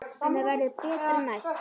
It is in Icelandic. En það verður betra næst.